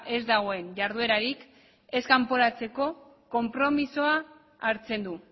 ez dagoen jarduerarik ez kanporatzeko konpromisoa hartzen du